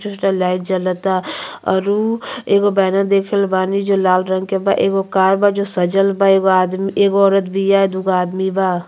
दूसरा लाइट जलता और उ एगो बैनर देख रहल बानी जो लाल रंग के बा। एगो कार बा जो सजल बा। एगो आदमी एगो औरत बिया दू गो आदमी बा।